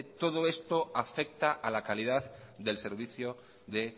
todo esto afecta a la calidad del servicio de